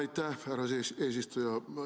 Aitäh, härra eesistuja!